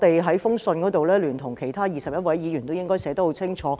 在信函中，我聯同21位議員把立場寫得很清楚。